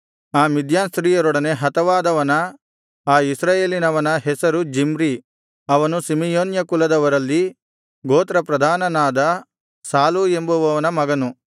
ಆ ಮಿದ್ಯಾನ್ ಸ್ತ್ರೀಯೊಡನೆ ಹತವಾದವನ ಆ ಇಸ್ರಾಯೇಲಿನವನ ಹೆಸರು ಜಿಮ್ರಿ ಅವನು ಸಿಮೆಯೋನ್ಯ ಕುಲದವರಲ್ಲಿ ಗೋತ್ರ ಪ್ರಧಾನನಾದ ಸಾಲೂ ಎಂಬುವನ ಮಗನು